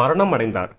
மரணம் அடைந்தார்